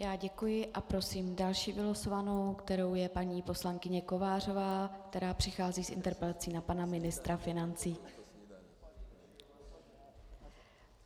Já děkuji a prosím další vylosovanou, kterou je paní poslankyně Kovářová, která přichází s interpelací na pana ministra financí.